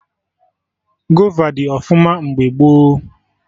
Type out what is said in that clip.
Gova dị ọfụma mgbe gboo